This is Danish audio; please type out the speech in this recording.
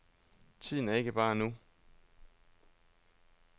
Tiden er ikke bare nu.